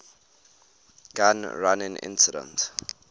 gun running incident